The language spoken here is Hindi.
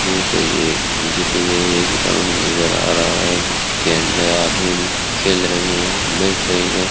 ये मुझे तो ये एक ग्राउंड नजर आ रहा है जिसके अंदर आदमी भी खेल रहे हैं बैठ रहे हैं।